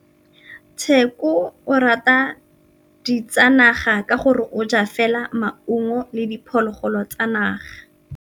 Tshekô o rata ditsanaga ka gore o ja fela maungo le diphologolo tsa naga.